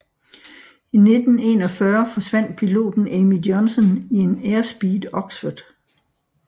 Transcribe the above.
I 1941 forsvandt piloten Amy Johnson i en Airspeed Oxford